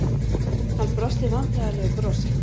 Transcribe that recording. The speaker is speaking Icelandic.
Hann brosti vandræðalegu brosi.